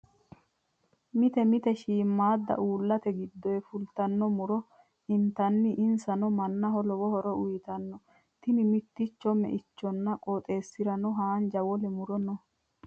Mite mite shiimamaadda uullate giddoyi fultanno muro intanni. Insano mannaho lowo horo uyiitanno. Tini mitticho meinchote. Qooxesiserano haanja wole muro no